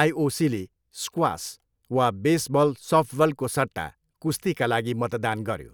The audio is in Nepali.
आइओसीले स्क्वास वा बेसबल, सफ्टबलको सट्टा कुस्तीका लागि मतदान गऱ्यो।